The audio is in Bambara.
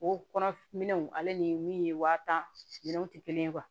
O kɔnɔ minɛnw ale ni min ye waa tan minɛnw tɛ kelen ye